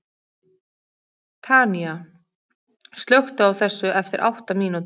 Tanía, slökktu á þessu eftir átta mínútur.